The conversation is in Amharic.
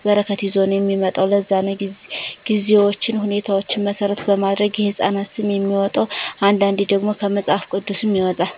በረከት ይዞ ነዉ የሚመጣዉ ለዛ ነዉ ጊዜዎችን ሁኔታዎች መሰረት በማድረግ የህፃናት ስም የሚወጣዉ አንዳንዴ ደግሞ ከመፅሀፍ ቅዱስም ይወጣል